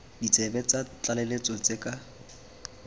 ditsebe tsa tlaleletso tse ka